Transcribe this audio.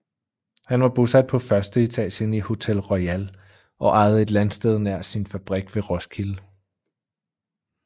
Han var bosat på førsteetagen i Hotel Royal og ejede et landsted nær sin fabrik ved Roskilde